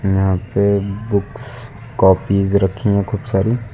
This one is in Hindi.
यहां पे बुक्स काॅपिस रखी हैं खूब सारी।